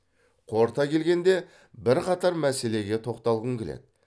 қорыта келгенде бірқатар мәселеге тоқталғым келеді